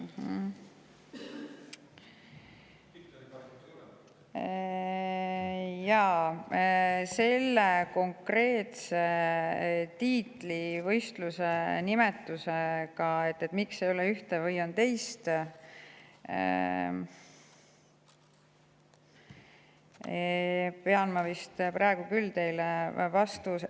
Jaa, vastuse selle konkreetse tiitlivõistluse nimetamise kohta ja miks ei ole seal veel ühte või teist, pean ma praegu küll teile.